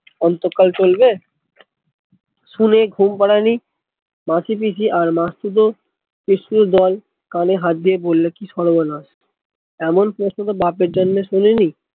অন্তকাল চলবে শুনে ঘুমপাড়ানি মাসি পিসি আর মাসতুতো পিসতুতো দল কানে হাত দিয়ে বললো কি সর্বনাশ এমন প্রশ্ন তো বাপের জন্মে বাপের জন্মে শুনিনি